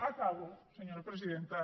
acabo senyora presidenta